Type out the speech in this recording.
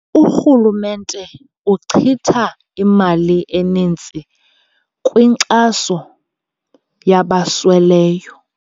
Urhulumente uchitha imali eninzi kwinkxaso yabasweleyo.